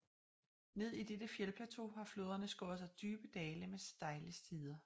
Ned i dette fjeldplateau har floderne skåret sig dybe dale med stejle sider